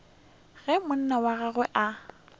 ge monna wa gagwe a